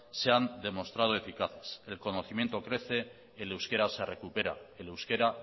se han demostrado eficaces el conocimiento crece el euskera se recupera el euskera